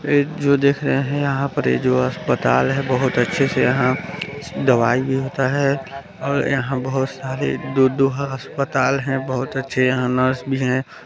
यह जो देख रहे है यहाँ पर ये जो अस्तपताल है बहुत अच्छे से यहाँ दवाई भी होता है और यहाँ बहुत सारे दो दो हा-अस्पताल है बहुत अच्छे यहाँ नर्स भी हैं ।